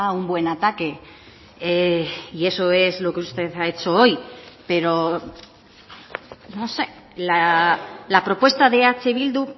un buen ataque y eso es lo que usted ha hecho hoy pero la propuesta de eh bildu